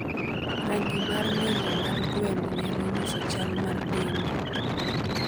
Rangi mar ng'injo mar gweno nyalo nyiso chal mar dende.